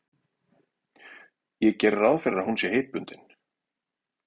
Ég geri ráð fyrir að hún sé heitbundin?